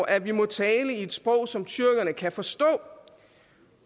at vi må tale i et sprog som tyrkerne kan forstå